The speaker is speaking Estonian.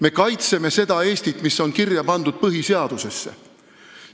Me kaitseme seda Eestit, mis on kirja pandud põhiseadusesse.